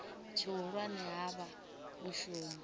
tshihulwane ha vha u shumela